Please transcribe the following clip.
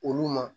Olu ma